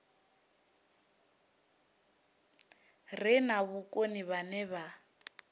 re na vhukoni vhane vha